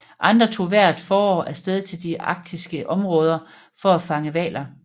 Andre tog hvert forår af sted til de arktiske områder for at fange hvaler